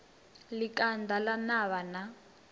ḽi kanda ḽa navha na